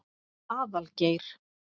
Aðalgeir